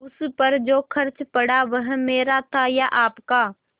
उस पर जो खर्च पड़ा वह मेरा था या आपका